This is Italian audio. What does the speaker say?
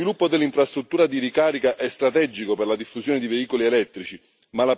Lo sviluppo dell'infrastruttura di ricarica è strategico per la diffusione di veicoli elettrici.